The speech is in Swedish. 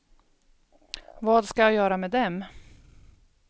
Vad ska jag göra med dem?